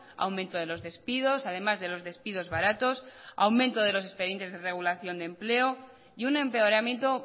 aumento de los despidos además de los despidos baratos aumento de los expedientes de regulación de empleo y un empeoramiento